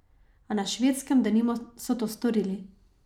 A na Švedskem, denimo, so to storili.